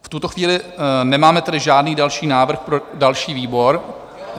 V tuto chvíli nemáme tedy žádný další návrh pro další výbor.